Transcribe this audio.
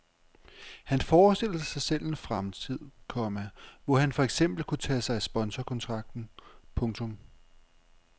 Han forestiller sig selv en fremtid, komma hvor han for eksempel kunne tage sig af sponsorkontakten. punktum